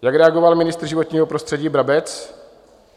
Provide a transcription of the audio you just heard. Jak reagoval ministr životního prostředí Brabec?